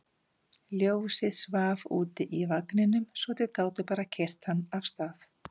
Ljósið svaf úti í vagninum svo þau gátu bara keyrt hann af stað.